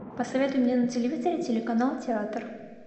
посоветуй мне на телевизоре телеканал театр